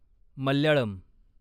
Malayalam